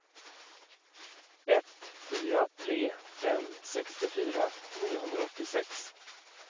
ett fyra tre fem sextiofyra niohundraåttiosex